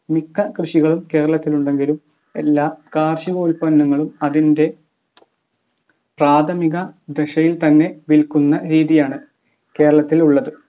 മിക്ക കൃഷികളും കേരളത്തിലുണ്ടെങ്കിലും എല്ലാ കാർഷികോൽപ്പന്നങ്ങളും അതിൻ്റെ പ്രാഥമിക ദശയിൽ തന്നെ വിൽക്കുന്ന രീതിയാണ് കേരളത്തിൽ ഉള്ളത്